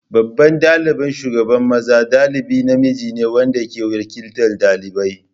Babban ɗalibin shugaban maza dalibi namiji ne wanda ke wakiltar ɗalibai.